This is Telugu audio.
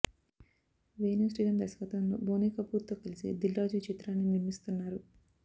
వేణు శ్రీరామ్ దర్శకత్వంలో బోనీ కపూర్తో కలిసి దిల్ రాజు ఈ చిత్రాన్ని నిర్మిస్తున్నారు